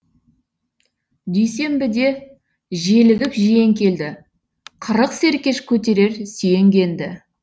дүйсенбіде желігіп жиен келді қырық серкеш көтерер сүйенгенді